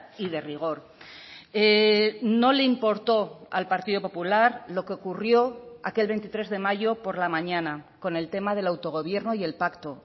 y de rigor no le importó al partido popular lo que ocurrió aquel veintitrés de mayo por la mañana con el tema del autogobierno y el pacto